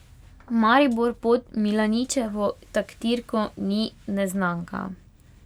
Maribor pod Milaničevo taktirko ni neznanka.